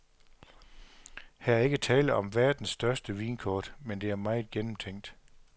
Her er ikke tale om verdens største vinkort, men det er meget gennemtænkt.